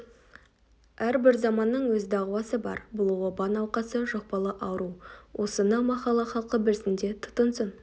әрбір заманның өз дағуасы бар бұл оба науқасы жұқпалы ауру осыны махалла халқы білсін де тұтынсын